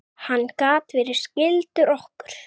Hann gat verið skyldur okkur.